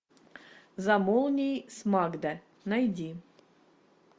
за молнией с магда найди